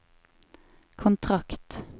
kontrakt